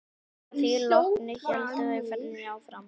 Að því loknu héldu þau ferðinni áfram.